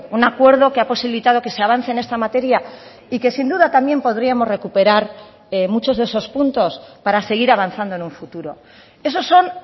un acuerdo que ha posibilitado que se avance en esta materia y que sin duda también podríamos recuperar muchos de esos puntos para seguir avanzando en un futuro esos son